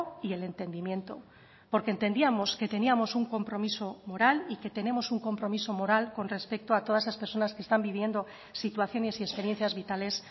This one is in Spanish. y el entendimiento porque entendíamos que teníamos un compromiso moral y que tenemos un compromiso moral con respecto a todas las personas que están viviendo situaciones y experiencias vitales